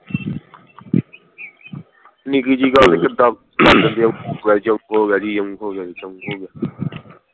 ਨਿੱਕੀ ਜੀ ਗੱਲ ਕਿੱਦਾਂ ਭੰਨ ਦੇ ਓਹ ਹੋ ਗਿਆ ਜੀ ਅਓ ਹੋ ਗਿਆ ਜੀ ਯਓ ਹੋ ਗਿਆ ਜੀ